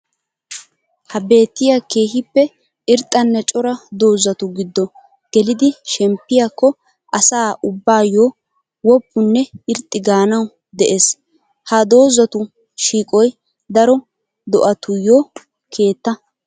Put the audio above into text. Ha beetiya keehippe irxxanne cora doozattu gido geliddi shemppiyakko asaa ubbayo woppunne irxxi gaanawu de'ees. Ha doozatu shiiqoy daro do'attuyo keetta.